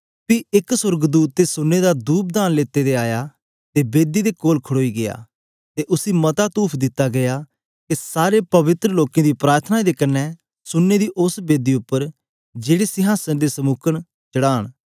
पी एक ते सोर्गदूत सुन्ने दा धूपदान लेते दे आया ते बेदी दे कोल खड़ोई गीया ते उसी मता तूफ दिता गीया के सारे पवित्र लोकें दी प्रार्थनाएं दे कन्ने सुन्ने दी उस्स बेदी उप्पर जेड़े संहासन दे समुक न चढ़ान